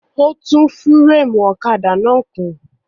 Ó tún fúrémù ọ̀kadà náà kùn.